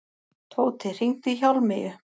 Tóti, hringdu í Hjálmeyju.